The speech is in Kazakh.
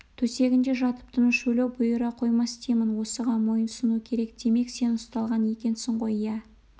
төсегінде жатып тыныш өлу бұйыра қоймас деймін осыған мойынсұну керек демек сен ұсталған екенсің ғой иә